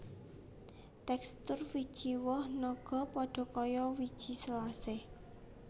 Tekstur wiji woh naga padha kaya wiji selasih